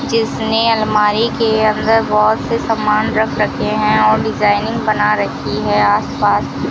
जिसने अलमारी के अंदर बहोत से सम्मान रख रखे हैं और डिजाइनिंग बना रखी है आसपास--